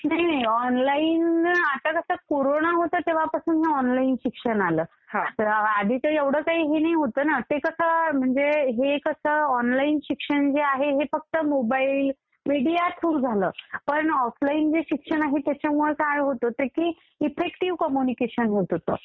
नाही नाही. आता कसं कोरोना होत तेंव्हापासून ऑनलाईन शिक्षण आलं. आधी काही एवढं नव्हतं ना. म्हणजे हे कसं ऑनलाईन शिक्षण जे आहे ते फक्त मोबाईल, मीडिया थ्रू झालं. पण ऑफलाईन जे शिक्षण आहे त्याच्यात काय होत होतं की एफ्फेक्टिव्ह कम्युनिकेशन होत होतं.